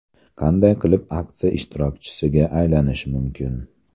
Qanday qilib aksiya ishtirokchisiga aylanish mumkin?